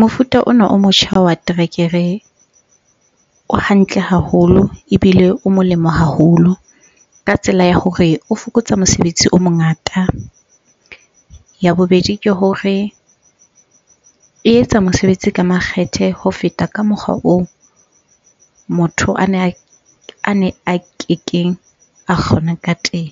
Mofuta ona o motjha wa terekere o hantle haholo ebile o molemo haholo ka tsela ya hore o fokotsa mosebetsi o mongata. Ya bobedi, ke hore e etsa mosebetsi ka makgethe ho feta ka mokgwa oo motho ana a ne a kekeng a kgona ka teng.